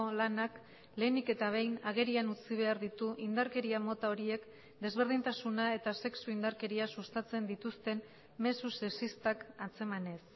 lanak lehenik eta behin agerian utzi behar ditu indarkeria mota horiek desberdintasuna eta sexu indarkeria sustatzen dituzten mezu sexistak antzemanez